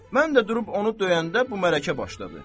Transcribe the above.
Mən də durub onu döyəndə bu mərəqə başladı.